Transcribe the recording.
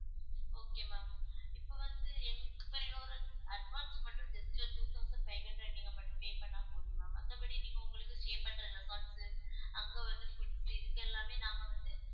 okay ma'am இப்ப வந்து எங்~ இப்ப நீங்க ஒரு advance மட்டும் just ஒரு two thousand five hundred நீங்க மட்டும் pay பண்ணா போதும் ma'am மத்தபடி நீங்க உங்களுக்கு stay பண்ற resorts உ அங்க வந்து foods இருக்கு எல்லாமே நாங்க வந்து